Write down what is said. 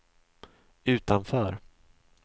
utanför